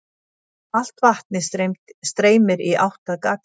Allt vatnið streymir í átt að gatinu.